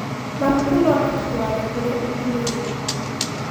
Mabuku no matũtũare kũrĩ ũkunũri.